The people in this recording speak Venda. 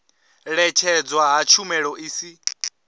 ṅetshedzwa ha tshumelo i si